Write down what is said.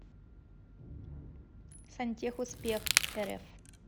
сантехуспехрф